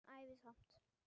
En ævi samt.